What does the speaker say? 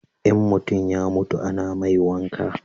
in mutum ya mutu a na mai wanka